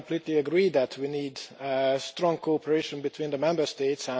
I completely agree that we need strong cooperation between the Member States.